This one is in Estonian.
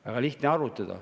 Väga lihtne arvutada.